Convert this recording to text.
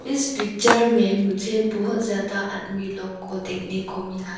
इस पिक्चर में मुझे बहोत ज्यादा आदमी लोग को देखने को मिला।